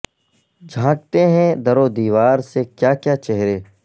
جھانکتے ہیں در و دیوار سے کیا کیا چہرے